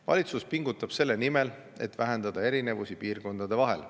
Valitsus pingutab selle nimel, et vähendada erinevusi piirkondade vahel.